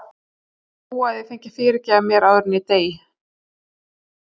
Ó að ég fengi að fyrirgefa mér áður en ég dey.